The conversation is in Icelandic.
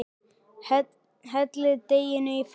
Hellið deiginu í formið.